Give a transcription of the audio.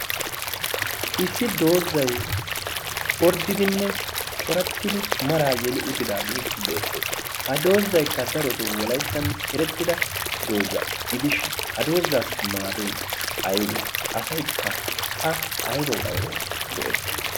Issi doozzaY orddidinne corattidi maraa yeli utidaagee beettees. Ha doozzaykka daroto wolayttan erettida doozza gidishin ha doozzaassi maadoy aybee? Asaykka a aybawu aybawu go'etti?